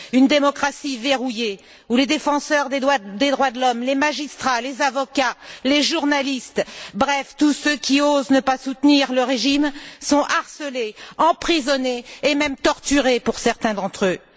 Une démocratie verrouillée, où les défenseurs des droits de l'homme, les magistrats, les avocats, les journalistes bref tous ceux qui osent ne pas soutenir le régime sont harcelés, emprisonnés, et même torturés, pour certains d'entre eux.